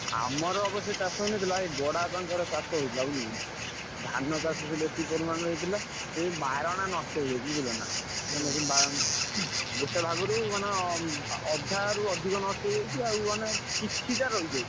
ଆମର ଅବଶ୍ୟ ଚାଷ ହେଇନଥିଲା ଏଇ ବଡ ବାପାଙ୍କର ଚାଷ ହେଇଥିଲା ବୁଝିଲୁ ଧାନ ଚାଷ ସେଇ ବେଶୀ ପରିମାଣରେ ହେଇଥିଲା ସେ ବାରଣା ନଷ୍ଟ ହେଇଯାଇଛି ବୁଝିଲନା ଗୋଟେ ଭାଗରୁ ମାନେ ଅ ଉଁ ଅଧାରୁ ଅଧିକ ନଷ୍ଟ ହେଇଯାଇଛି ଆଉ ମାନେ କିଛି ଟା ରହିଯାଇଛି।